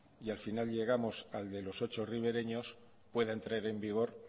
y al final llegamos al de los ocho rivereños pueda entrar en vigor